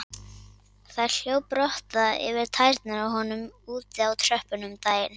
Það hljóp rotta yfir tærnar á honum úti á tröppum um daginn.